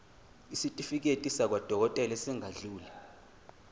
isitifiketi sakwadokodela esingadluli